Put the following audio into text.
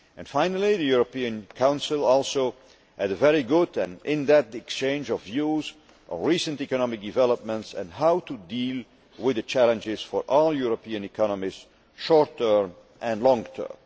Finally, the European Council also had a very good and in depth exchange of views on recent economic developments and on how to deal with the challenges for all European economies, short term and long term.